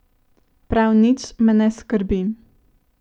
Prav nič me ne skrbi.